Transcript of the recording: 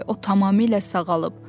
"O tamamilə sağalıb".